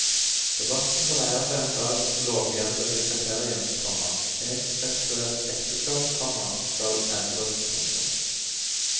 Debatten dreier seg om dagens lovhjemlede kriterium, komma heteroseksuelt ekteskap, komma skal endres. punktum